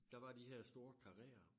Der var de her store karréer